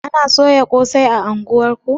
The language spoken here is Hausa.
Ana soya ƙosai a unguwar ku?